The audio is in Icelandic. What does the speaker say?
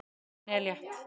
Henni er létt.